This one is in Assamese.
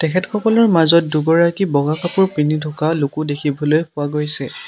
তেখেত সকলৰ মাজত দুগৰাকী বগা কাপোৰ পিন্ধি থকা লোকো দেখিবলৈ পোৱা গৈছে।